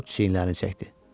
Corc çiynlərini çəkdi.